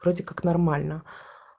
вроде как нормально